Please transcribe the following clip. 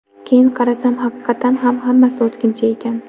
Keyin qarasam, haqiqatan ham hammasi o‘tkinchi ekan.